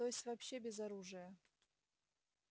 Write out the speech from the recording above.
то есть вообще без оружия